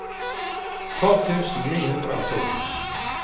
tolv tusen ni hundre og to